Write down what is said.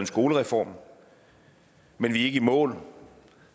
skolereform men vi er ikke i mål